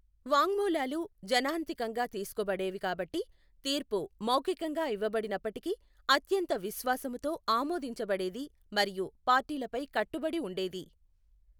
వాంగ్మూలాలు జనాంతికంగా తీసుకోబడేవి కాబట్టి తీర్పు మౌఖికంగా ఇవ్వబడినప్పటికీ అత్యంత విశ్వాసముతో ఆమోదించబడేది మరియు పార్టీలపై కట్టుబడి ఉండేది.